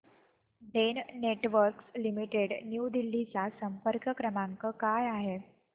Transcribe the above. Den networks limited New Delhi चा संपर्क क्रमांक काय आहे